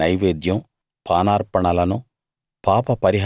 వాటి వాటి నైవేద్యం పానార్పణలను